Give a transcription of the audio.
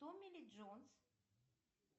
томми ли джонс